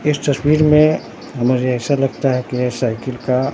इस तस्वीर में मुझे ऐसा लगता है कि ये साइकिल का--